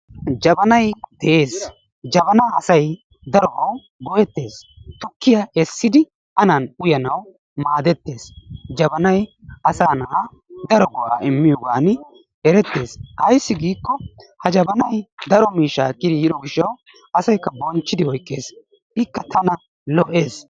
Jabanay deesi, jabaanaa asay darobawu go''ettees. Tukkiya eessidi an uyanawu maadettees. jabanaybasaa naa daro go'aa immiyogaan erettes. Ayssi giikko ha jabanay daro miishshaa ekkidi yiido gishaw asaykka bonchchidi oykkees ikka tana lo'ees.